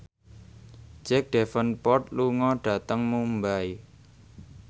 Jack Davenport lunga dhateng Mumbai